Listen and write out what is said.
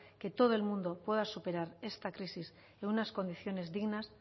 que todo el mundo pueda superar esta crisis en unas condiciones dignas